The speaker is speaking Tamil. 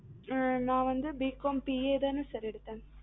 நா வந்து Bcom CA தான sir எடுத்தேன்